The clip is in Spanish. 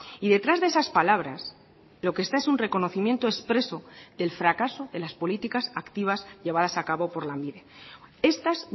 y detrás de esas palabras lo que está es un reconocimiento expreso del fracaso de las políticas activas llevadas a cabo por lanbide estas